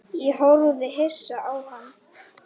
Ég horfði hissa á hann.